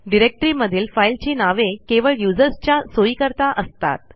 डिरेक्टरीमधील फाईलची नावे केवळ usersच्या सोईकरता असतात